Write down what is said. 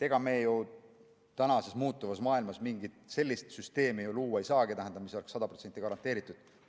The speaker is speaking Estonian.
Ega me ju tänases muutuvas maailmas mingit sellist süsteemi luua ei saagi, mille toimimine oleks sada protsenti garanteeritud.